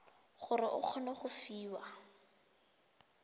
gore o kgone go fiwa